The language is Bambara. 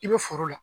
I bɛ foro la